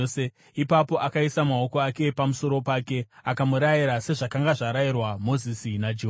Ipapo akaisa maoko ake pamusoro pake akamurayira, sezvakanga zvarayirwa Mozisi naJehovha.